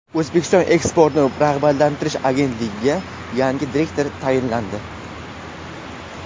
O‘zbekiston Eksportni rag‘batlantirish agentligiga yangi direktor tayinlandi.